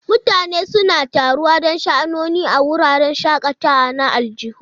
Mutane suna taruwa don sha'anoni a wuraren shakatawa na aljihu.